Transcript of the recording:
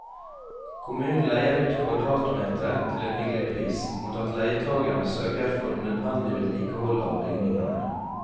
Kommunen leier ut kvadratmetre til en hyggelig pris, mot at leietagerne sørger for nødvendig vedlikehold av bygningene.